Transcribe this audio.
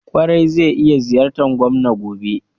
Ƙwarai, zai iya ziyartar gwamnan gobe.